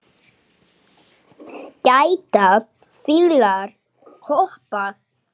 Geta fílar hoppað?